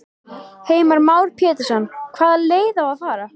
Heimir Már Pétursson: Hvaða leið á að fara?